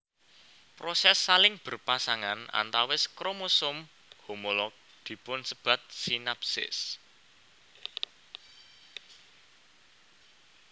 Proses saling berpasangan antawis kromosom homolog dipunsebat Sinapsis